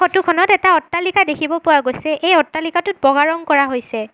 Photo খনত এটা অট্টালিকা দেখিব পোৱা গৈছে এই অট্টালিকাটোত বগা ৰং কৰা হৈছে।